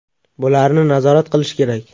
Bularni nazorat qilish kerak.